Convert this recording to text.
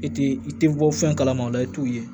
I ti i ti bɔ fɛn kalaman o la i t'o ye